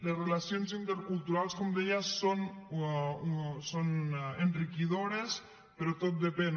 les relacions interculturals com deia són enriquidores però tot depèn